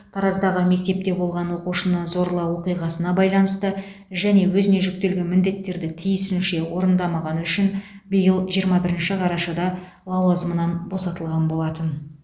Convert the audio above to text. тараздағы мектепте болған оқушыны зорлау оқиғасына байланысты және өзіне жүктелген міндеттерді тиісінше орындамағаны үшін биыл жиырма бірінші қарашада лауазымынан босатылған болатын